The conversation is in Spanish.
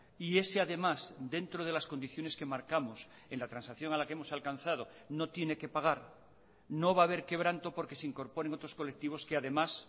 y ese además dentro de las condiciones que marcamos en la transacción a la que hemos alcanzado no tiene que pagar no va a haber quebranto porque se incorporen otros colectivos que además